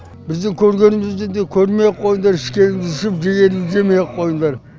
біздің көргенімізді де көрмей ақ қойыңдар ішкенімізді ішіп жегенімізді жемей ақ қойыңдар